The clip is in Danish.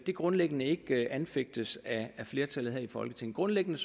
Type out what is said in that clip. grundlæggende ikke anfægtes af flertallet her i folketinget grundlæggende